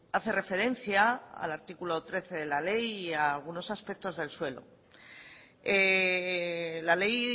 hace referencia al artículo trece de la ley y a algunos aspectos del suelo la ley